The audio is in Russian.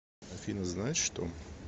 афина знаешь что